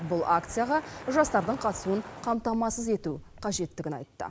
бұл акцияға жастардың қатысуын қамтамасыз ету қажеттігін айтты